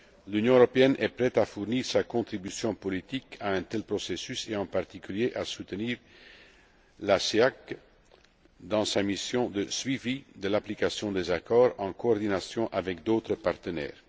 L'Union européenne est prête à fournir sa contribution politique à un tel processus et, en particulier, à soutenir la CEEAC dans sa mission de suivi de l'application des accords, en coordination avec d'autres partenaires.